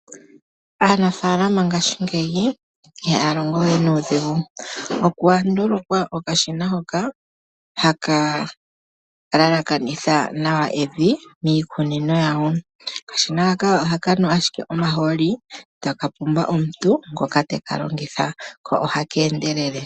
Aanafaalama mongashingeyi ihaya longo we nuudhigu, opwa ndulukwa okashina hoka haka elekanitha nawa evi miikunino yawo. Okashina haka ohaka nu owala omahooli e taka pumbwa omuntu ngoka te ka longitha. Ohaka endelele.